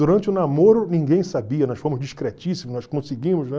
Durante o namoro ninguém sabia, nós fomos discretíssimos, nós conseguimos, né?